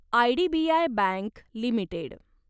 IDBI bank limited